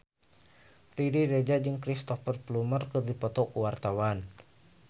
Riri Reza jeung Cristhoper Plumer keur dipoto ku wartawan